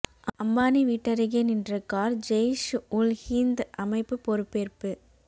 அம்பானி வீட்டருகே நின்ற கார் ஜெய்ஷ் உல் ஹிந்த் அமைப்பு பொறுப்பேற்பு